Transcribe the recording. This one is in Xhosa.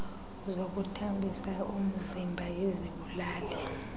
zokuthambisa umziba izibulali